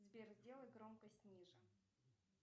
сбер сделай громкость ниже